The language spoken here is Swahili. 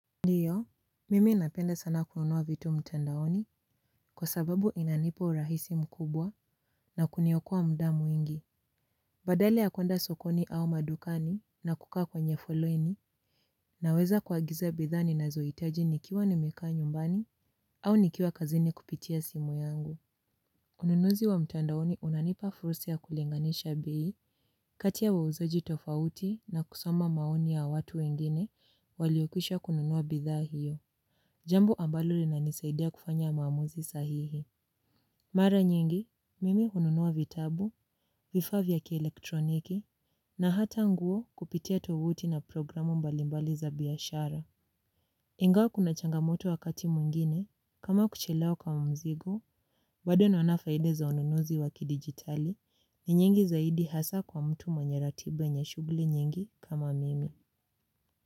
Ndiyo, mimi napenda sana kununua vitu mtandaoni kwa sababu inanipa urahisi mkubwa na kuniokoa muda mwingi. Badala ya kwenda sokoni au madukani na kukaa kwenye foleni naweza kuagiza bidhaa ninazoitaji nikiwa nimekaa nyumbani au nikiwa kazini kupitia simu yangu. Ununuzi wa mtandaoni unanipa fursa ya kulinganisha bei kati ya wauzaji tofauti na kusoma maoni ya watu wengine waliokwisha kununua bidhaa hiyo. Jambo ambalo linanisaidia kufanya maamuzi sahihi. Mara nyingi, mimi hununua vitabu, vifaa vya kielektroniki, na hata nguo kupitia tovuti na programu mbalimbali za biashara. Ingawa kuna changamoto wakati mwingine, kama kuchelewa kama mzigo, bado ninaona faida za ununuzi wakidijitali, ni nyingi zaidi hasa kwa mtu mwenye ratiba yenye shughuli nyingi kama mimi.